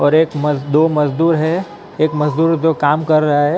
और एक दो मजदूर हैं एक मजदूर जो काम कर रहा हैं ।